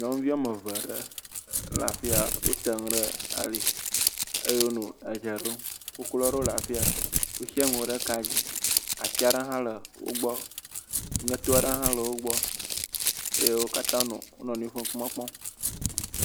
Nyɔnuvi woame eve ɖe wole afi ya, wote ŋu ɖe ali eye wonɔ edze ɖom, koklo aɖewo le afi ya, wosiã nuwo ɖe ka, dzi ati aɖewo hã le wo gbɔ, ŋeto aɖe hã le wo gbɔ eye wo katã wole wo nɔnɔewo ƒe ŋkume kpɔm.